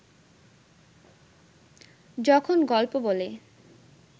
যখন গল্প বলে